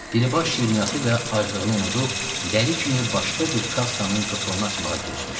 Dilibaş şirniyyatı və aclığını unudub dəli kimi başqa bir kassanın qıfılını açmağa girişmişdi.